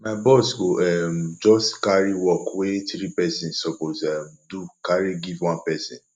my boss go um just carry work wey three pesins suppose um do carry give one pesin